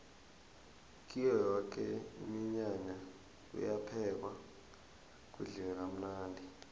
kuyo yoke iminyanya kuyaphekwa kudliwe kamnandi